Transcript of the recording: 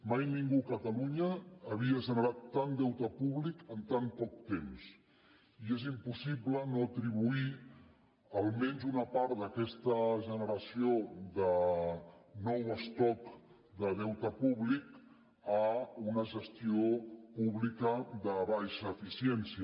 mai ningú a catalunya havia generat tant deute públic en tan poc temps i és impossible no atribuir almenys una part d’aquesta generació de nou estoc de deute públic a una gestió pública de baixa eficiència